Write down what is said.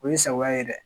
O ye sagoya ye dɛ